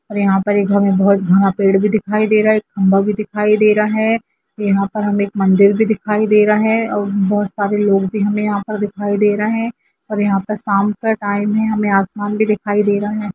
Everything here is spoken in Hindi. और यहाँ पे एक हमें बहुत घना पेड़ भी दिखाई दे रहा हैखम्बा भी दिखाई दे रहा है यहाँ पर हमे एक मंदिर भी दिखाई दे रहा है और बहोत सारे लोग भी हमें यहाँ पर दिखाई दे रहे है और यहाँ पे शाम का टाइम है हमें आसमान भी दिखाई दे रहा है।